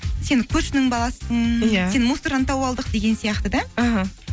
сен көршінің баласысын иә сен мусордан тауып алдық деген сияқты да іхі